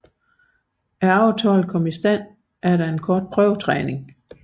Aftalen kom i stand efter en kort prøvetræning